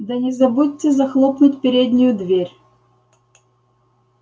да не забудьте захлопнуть переднюю дверь